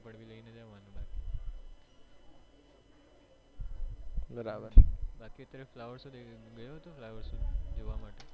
બરાબર બાકી તે flower show ગયો હતો flower show જોવા માટે